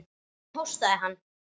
Hvernig hóstaði hann.